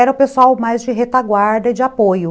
Era o pessoal mais de retaguarda e de apoio.